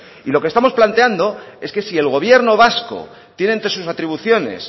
y lo que estamos planteando es que si el gobierno vasco tiene entre sus atribuciones